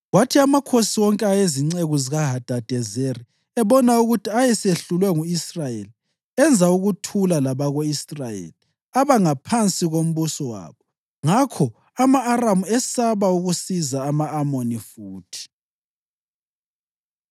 Kwathi amakhosi wonke ayezinceku zikaHadadezeri ebona ukuthi ayesehlulwe ngu-Israyeli, enza ukuthula labako-Israyeli aba ngaphansi kombuso wabo. Ngakho ama-Aramu esaba ukusiza ama-Amoni futhi.